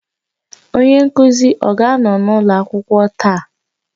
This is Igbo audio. Onye nkuzi ọ ga-anọ n'ụlọ akwụkwọ taa?